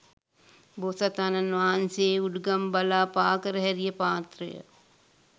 බෝසතාණන් වහන්සේ උඩුගං බලා පා කර හැරිය පාත්‍රය,